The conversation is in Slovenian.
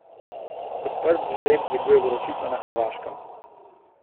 Odprt žreb dviguje vročico na Hrvaškem.